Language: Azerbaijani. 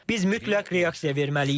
Biz mütləq reaksiya verməliyik.